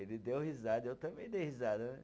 Ele deu risada, eu também dei risada né.